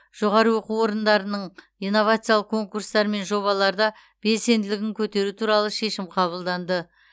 жоғары оқу орындарының инновациялық конкурстар мен жобаларда белсенділігін көтеру туралы шешім қабылданды